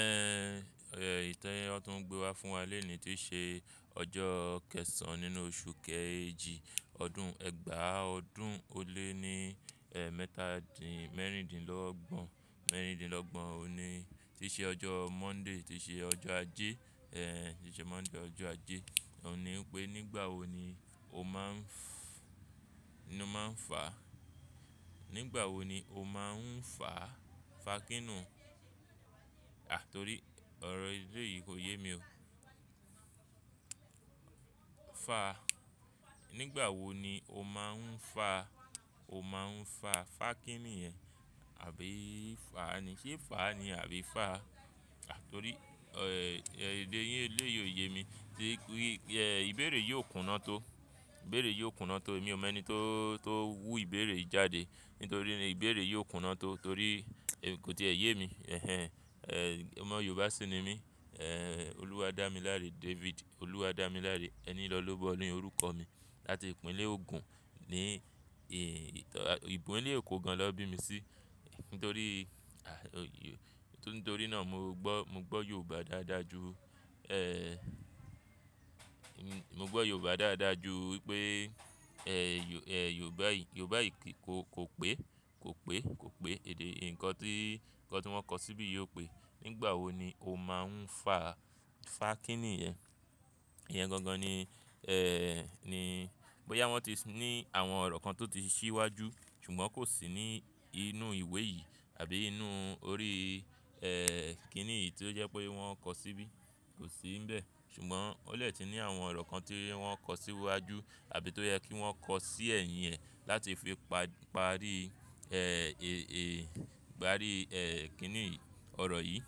Ẹ̀, èyí ti wọ́n tún gbé wá fún wà lenìí ti ṣe ọjọ́ kẹsàn nínú oṣù kẹjì, ọdún ẹgbàá ọdún ó lé ní, ẹ́, mẹ́tàdínlọ́gbọ̀n mẹ́rìndínlọ́gbọ̀n. Ó ni ti ṣe ọjọ́ Monday, ti ṣe ọjọ́ ajé, ẹ́, ti ṣe ọjọ́ ajé. Óun ní wípé nígbà wo ni o máa ń fá, nígbà wo ni o máa ń fá, fá kíni? À torí ọ̀rọ̀ èleyìí kò yé mi ó. Fa. Nígbà wo ni o máa ń fa? O máa ń fà, fá kíni yẹn? Àbí fa ni? Ṣé fá ni àbí fa? À torí, ẹ́, èdè yín eléyìí ò yé mi. Ẹ́, ìbéèrè yii ò kúnná tó. Ìbéèrè yóò kúnná tó. Èmi ò mọ ẹni tó, tó wu ìbéèrè yìí jáde. Nítorí ìbéèrè yìí ò kúnná tó torí kò ti è yé mi. Ẹ̀hen. Omọ̀ Yorùbá ṣì ni mí. Ẹ̀, Olúwadámiláre David, Olúwadámiláre Enilọ́lọ́bọ̀ ni orúkọ mi. Láti ìpínlẹ̀ Ogun. Ní ì, ìpínlẹ̀ Èkó gán lọ bí mi sí. Nítorí, nítorí náà mo gbọ́, mo gbọ́ Yorùbá dájúdájú, Mọ gbọ́ Yorùbá dáadáa ju wípé, ẹ́, Yorùbá yìí kò, kò pé, kò pé, kò pé. Ǹkan tí, ǹkan tí wọ́n kọ síbí yìí ò pé nígbà wo ni o máa ń fà, fá kíni yẹn? Iyẹn gan gan ni, ẹ́, ni bóyá wọ́n ti ní àwọn ọ̀rọ̀ kan tó ti ṣíwájú ṣùgbọ́n kò sí ní inú ìwé yìí àbí inú orí, ẹ́, kíni yìí tí ó jẹ́ pé wọ́n kọ síbí, kò sí nbẹ̀. Ṣùgbọ́n ó dè ti ní àwọn ọ̀rọ̀ kan tí wọ́n kọ sí wájú àbí tó yẹ kí wọ́n kọ sí ẹ̀yìn ẹ̀ láti fi parí, ẹ́, parí ẹ́, kíni ọ̀rọ̀ yìí.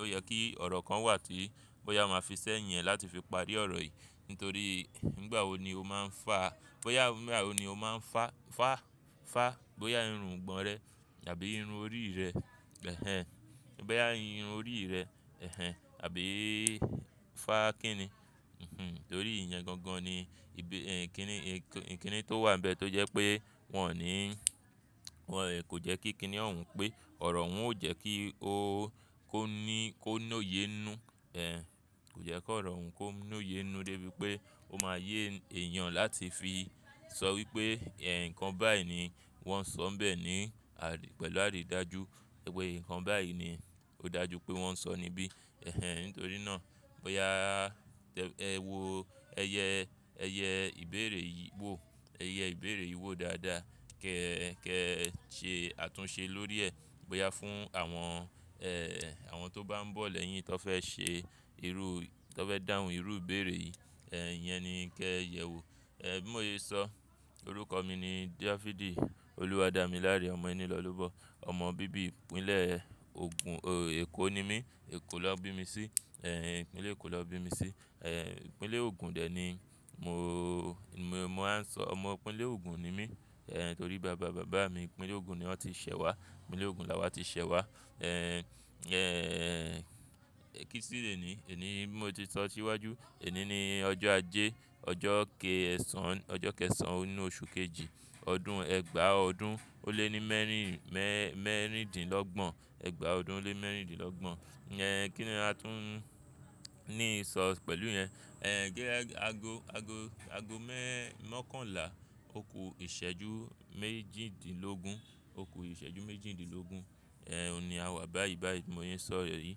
Ó yẹ kí ọ̀rọ̀ kan wà tí bóyá wọn máa fi sẹ́yìn ẹ̀ láti fi parí ọ̀rọ̀ yìí. Nítorí nígbà wo ni o máa ń fa, bóyá nígbà wo ni o máa ń fa, fá, fá, bóyá irun ìgbọ̀n rẹ àbí irun orí rẹ. Ẹ̀hẹn. Bóyá irun orí rẹ, ẹ̀hen, àbí fá kíni? Ìhmm. Torí iyẹn gan gan ni ìbí, ẹ́, kíni, kíni tó wà níbẹ̀ tó jẹ́ pé wọn ò ní, wọn kò jẹ́ kí kíni ọ̀ún pẹ́. Ọ̀rọ̀ òun ò jẹ́ kí ó, kó ní, kó lóye inú, ẹ́, kò jẹ́ kí ọ̀rọ̀ òun kó lóye inú débi pé ó máa yé èèyàn láti fi sọ wípé, ẹ́, ǹkan báyìí ni wọ́n sọ bẹ́ẹ̀ ni pẹ̀lú àrídájú pé ǹkan báyìí ni ó dájú pé wọ́n sọ níbí. Ẹ̀hen. Nítorí náà bóyá ẹ wo ẹyẹ, ẹyẹ ìbéèrè yìí wò, ẹyẹ ìbéèrè yìí wò dáadáa kí ẹ ṣe àtúnṣe lórí ẹ. Bóyá fún àwọn, ẹ́, àwọn tó bá ń bọ̀ lẹ́yìn tí wọ́n fẹ́ ṣe irú, tí wọ́n fẹ́ dáhùn irú ìbéèrè yìí, ẹ́, iyẹn ni kí ẹ yẹ̀ wo. Ẹ̀, bí mo ye sọ orúkọ mi ni Dáfídì Olúwadámiláre Ọmọenilọ́lọ́bọ̀. Ọmọ bíbí ìpínlẹ̀ Ogun. Ọ̀, Èkó ni mí. Èkó lón bí mi sí. Ẹ̀hen. Ìpínlẹ̀ Èkó ló bí mi sí. Ẹ̀hen. Ìpínlẹ̀ Ogun dè ni mo, mo máa ń sọ ọmọ ìpínlẹ̀ Ogun ni mí. Ẹ̀hen. Torí bàbá, bàbá mi ìpínlẹ̀ Ogun ni wọ́n ti ṣẹ̀ wá. Ìpínlẹ̀ Ogun la wọ́n ti ṣẹ̀ wá. Ẹ̀hen. Ki ṣí lè ní, èní ni bí mo ti sọ síwájú. Èní ni ọjọ́ ajé, ọjọ́ kẹsàn-án, ọjọ́ kẹsàn-án nínú oṣù kejì, ọdún ẹgbàá ọdún ó lé ní mẹ́rìn, mẹ́rìndínlọ́gbọ̀n. Ẹgbàá ọdún ó lé mẹ́rìndínlọ́gbọ̀n. Ẹ̀hen. Kí ni a tún ní sọ pẹ̀lú iyẹn? Ẹ̀hen. Ge ago, ago, ago mọkànlá. Oko ìṣẹ́jú méjìdínlógún. Oko ìṣẹ́jú méjìdínlógún. Ẹ̀hen. Ó ni àwa báyìí báyìí bí mo ye sọrọ yìí.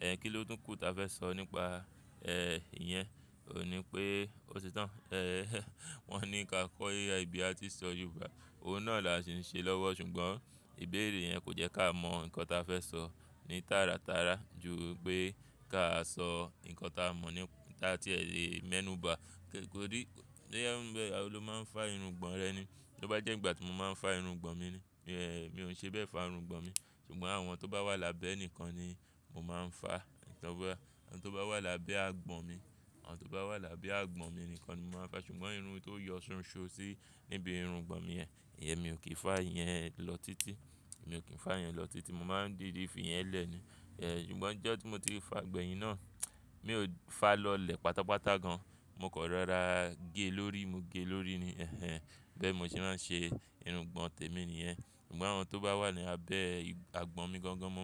Ẹ̀hen. Kí ló tún kú ta fẹ́ sọ nípa, ẹ́, iyẹn? Ó ní pé ó ti tán. Ẹ̀hen. Wọ́n ní kí a kọ AI bi a tin sọ Yorùbá. Ohun náà là ṣe ń ṣe lọ́wọ́ ṣùgbọ́n ìbéèrè yẹn kò jẹ́ ká mọ ǹkan ta fẹ́ sọ ní tàràtàrà ju pé ká sọ ǹkan ta mọ̀ ní, tí a ti lè mẹ́nù ba. Tò rí, bóyá ó ń bẹ, a ló máa ń fá irun ìgbọ̀nrẹ́ ni. Tí ó bá jẹ́ ìgbà tí mo máa ń fá irun ìgbọ̀n mi ni, mi ò ń ṣe bẹ́ẹ̀ fá irun ìgbọ̀n mi. Ṣùgbọ́n àwọn tó bá wà lábẹ́ ẹnìkan ni mo máa ń fá. Ẹ̀, àwọn tó bá wà lábẹ́ àgbọ̀n mi, àwọn tó bá wà lábẹ́ àgbọ̀n mi nìkan ni mo máa ń fá. Ṣùgbọ́n irun tó yọ ṣonṣo sí níbi irun ìgbọ̀n mi yẹn, ìyẹn mi ò kí ń fá iyẹn lọ títí. Mi ò kí ń fá iyẹn lọ títí. Mo máa ń dìdi fi iyẹn lẹ́ ni. Ẹ̀, ṣùgbọ́n ọjọ́ tí mo ti fa gbẹ̀yìn náà, mi ò fá lọlẹ̀ pátápátá gan. Mo kan rọra gé lórí. Mo gé lórí ni. Ẹ̀hen. Bẹ́ẹ̀ ni mo ṣe máa ń ṣe irun ìgbọ̀n temi níyẹn. Ṣùgbọ́n àwọn tó bá wà ní abẹ́ àgbọ̀n mi gangan mọ̀.